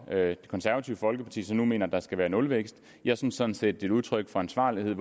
det konservative folkeparti nu mener at der skal være nulvækst jeg synes sådan set det er et udtryk for ansvarlighed